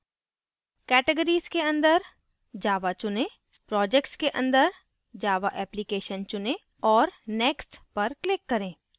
categories के अंदर java चुनें projects के अंदर java application चुनें और next पर click करें